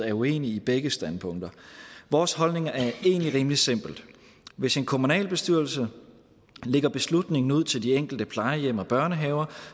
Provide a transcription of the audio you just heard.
er uenige i begge standpunkter vores holdning er egentlig rimelig simpel hvis en kommunalbestyrelse lægger beslutningen ud til de enkelte plejehjem og børnehaver